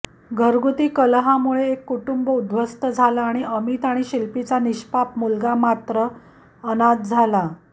घरघुती कलहामुळे एक कुटुंब उध्वस्त झालं आणि अमित आणि शिल्पीचा निष्पाप मुलगा मात्र अनाथ झाला